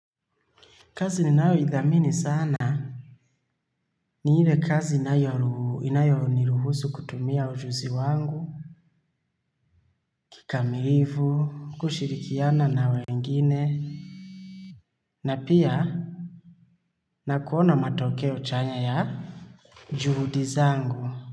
Kazi ninayoidhamini sana. Ni ile kazi inayoniruhusu kutumia ujuzi wangu kikamilifu, kushirikiana na wengine. Na pia na kuona matokeo chanya ya juhudi zangu.